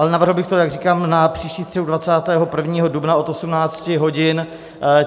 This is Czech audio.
Ale navrhl bych to, jak říkám, na příští středu, 21. dubna od 18 hodin.